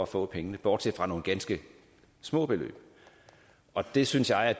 få pengene bortset fra nogle ganske små beløb det synes jeg